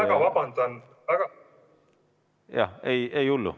Ma väga vabandan!